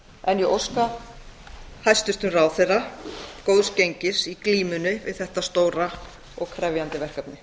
en ég óska hæstvirtum ráðherra góðs gengis í glímunni við þetta stóra og krefjandi verkefni